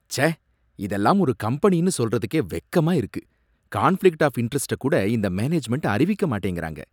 ச்சே, இதெல்லாம் ஒரு கம்பெனின்னு சொல்றதுக்கே வெக்கமா இருக்கு! கான்ஃப்ளிக்ட் ஆஃப் இண்டரஸ்ட கூட இந்த மேனேஜ்மென்ட் அறிவிக்க மாட்டேங்கிறாங்க.